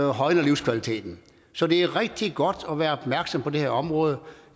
højner livskvaliteten så det er rigtig godt at være opmærksom på det her område